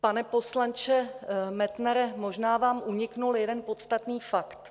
Pane poslanče Metnare, možná vám unikl jeden podstatný fakt.